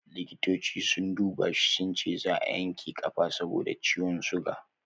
Likitoci sun duba shi sunce zaa a yanke kafa saboda ciwon suga